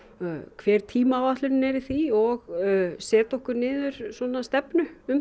hver tímaáætlunin er í því og setja okkur niður stefnu um